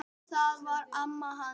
Þetta var amma hans